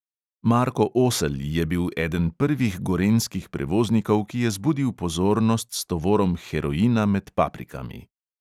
Marko oselj je bil eden prvih gorenjskih prevoznikov, ki je zbudil pozornost s tovorom heroina med paprikami.